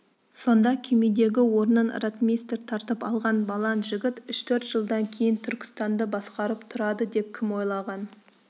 сонда күймедегі орнын ротмистр тартып алған балаң жігіт үш-төрт жылдан кейін түркістанды басқарып тұрады деп кім ойлаған